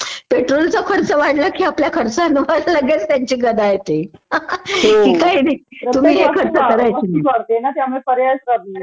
पेट्रोलचा खर्च वाढला कि आपल्या खर्चांवर लगेच त्यांची गदा येते कि काही नाही तुम्ही हे खर्च करायचे नाही